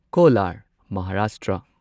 Kolar Maharashtra